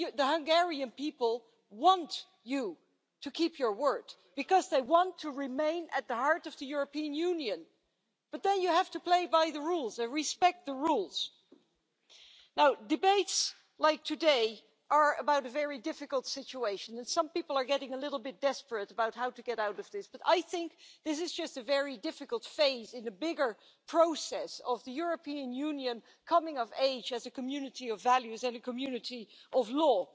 The Hungarian people want you to keep your word, because they want to remain at the heart of the European Union. But then you have to play by the rules and respect the rules. Debates like this one today are about a very difficult situation, and some people are getting rather desperate about how to get out of that situation, but I think this is just a difficult phase in a bigger process of the European Union coming of age as a community of values and a community of law.